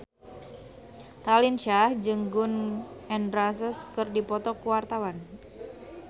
Raline Shah jeung Gun N Roses keur dipoto ku wartawan